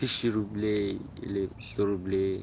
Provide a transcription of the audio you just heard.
тысяча рублей или сто рублей